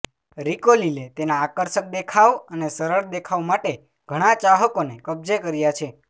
રીકોલીલે તેના આકર્ષક દેખાવ અને સરળ દેખાવ માટે ઘણા ચાહકોને કબજે કર્યા છે